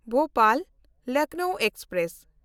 Bhopal-Lucknow express